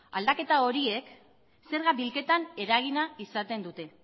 aldaketa horiek zerga bilketan eragina izaten dute